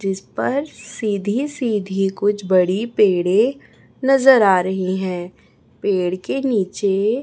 जिसपर सीधी सीधी कुछ बड़ी पेड़े नजर आ रही हैं पेड़ के नीचे--